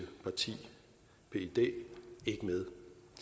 parti pyd ikke med